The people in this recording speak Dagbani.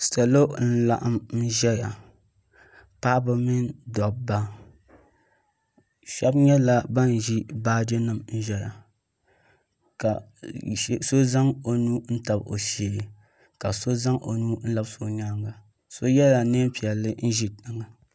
Salo n laɣim ʒɛya paɣaba ni dɔbba shɛba nyɛla bin ʒi baaji nima n ʒɛya ka so zaŋ o nuu n tabi o shee ka so zaŋ o nuu n labisi o nyaanga so yɛla niɛn piɛlli n ʒi tiŋa.